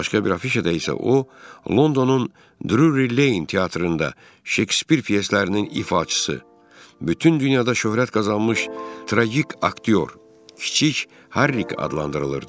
Başqa bir afişada isə o Londonun Drury Lane teatrında Şekspir pyeslərinin ifaçısı, bütün dünyada şöhrət qazanmış tragik aktyor kiçik Harrick adlandırılırdı.